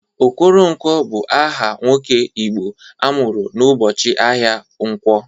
Okoronkwo bụ aha nwoke Igbo amụrụ n'ụbọchị ahịa nkwọ.